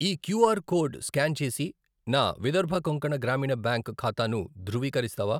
ఈ QR code scan చేసి నా విదర్భ కొంకణ గ్రామీణ బ్యాంక్ ఖాతాను ధృవీకరిస్తావా?